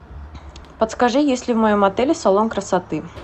подскажи есть ли в моем отеле салон красоты